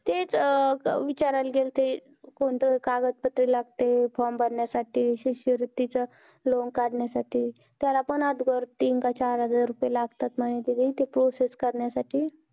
तेच विचारला गेले होते कोणते कागद पत्र लागतं form भरण्या साठी शिष्यवृत्ती loan काढण्या साठी त्याला पण अगोदर तीन काय चार हजार रुपये लागतात म्हणे process करण्या साठी